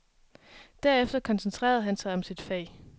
Derefter koncentrerede han sig om sit fag.